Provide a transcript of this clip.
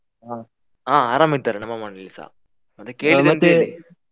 ಹಾ ಆ ಆರಾಮ್ ಇದ್ದಾರೆ ನಮ್ಮ ಮನೇಲಿಸಾ ಮತ್ತೆ ಕೇಳಿದಂತೆ.